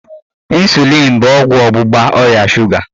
Ịnsulịn bụ ọgwụ ọgbụgba ọrịa shuga.